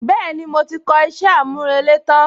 Bẹ́ẹ̀ni, mo ti kọ iṣẹ́ àmúrelé tán